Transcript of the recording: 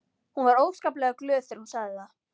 Hún var óskaplega glöð þegar hún sagði það.